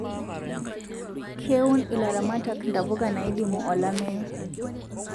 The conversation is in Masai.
Keun ilaramatak ntapuka naidimu olameyu